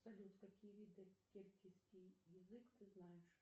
салют какие виды киргизский язык ты знаешь